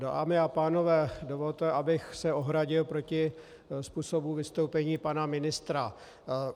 Dámy a pánové, dovolte, abych se ohradil proti způsobu vystoupení pana ministra.